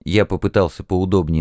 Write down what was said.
я попытался поудобнее